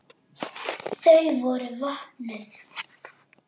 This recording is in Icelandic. Þau voru vopnuð.